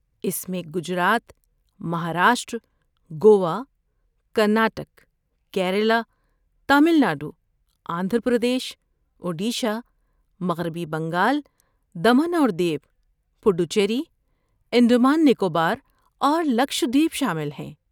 اس میں گجرات، مہاراشٹر، گوا، کرناٹک، کیرالہ، تامل ناڈو، آندھرا پردیش، اوڈیشہ، مغربی بنگال، دمن اور دیو، پڈوچیری، انڈمان نکوبار اور لکشدیپ شامل ہیں۔